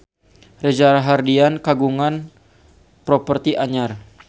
Reza Rahardian kagungan properti anyar